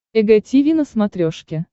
эг тиви на смотрешке